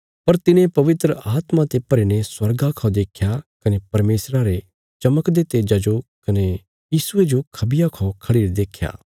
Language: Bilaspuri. पर तिने पवित्र आत्मा ते भरी ने स्वर्गा खौ देख्या कने परमेशरा रे चमकदे तेज्जा जो कने यीशुये जो खबिया खौ खढ़िरे देख्या